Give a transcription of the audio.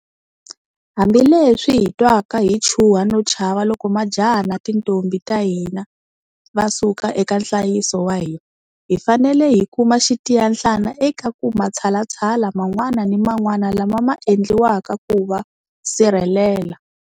Hambi leswi hi nga twaka hi chuha no chava loko majaha na tintombhi ta hina va suka eka nhlayiso wa hina, hi fanele hi kuma xitiyanhlana eka ku matshalatshala man'wana ni man'wana lama ma endliwaka ku va sirhelela.